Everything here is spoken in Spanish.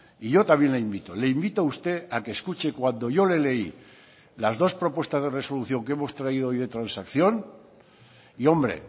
y yo también le invito le invito a usted a que escuche cuando yo le leí las dos propuestas de resolución que hemos traído hoy de transacción y hombre